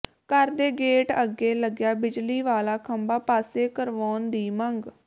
ਘਰ ਦੇ ਗੇਟ ਅੱਗੇ ਲੱਗਿਆ ਬਿਜਲੀ ਵਾਲਾ ਖੰਭਾਂ ਪਾਸੇ ਕਰਵਾਉਣ ਦੀ ਮੰਗ